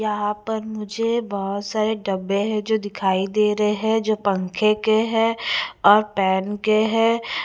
यहाँ पर मुझे बहुत सारे डब्बे हैं जो दिखाई दे रहे हैं जो पंखे के हैं और पेन के हैं ।